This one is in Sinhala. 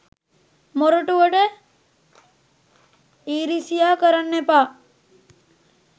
මොරටුවට ඉරිසියා කරන්න එපා